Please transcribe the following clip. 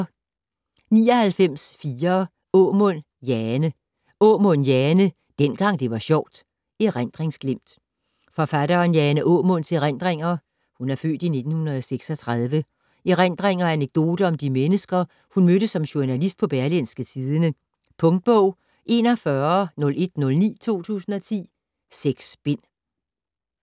99.4 Aamund, Jane Aamund, Jane: Dengang det var sjovt: erindringsglimt Forfatteren Jane Aamunds (f. 1936) erindringer og anekdoter om de mennesker, hun mødte som journalist på Berlingske Tidende. Punktbog 410109 2010. 6 bind.